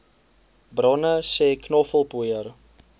bronne sê knoffelpoeier